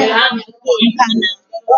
Nkà na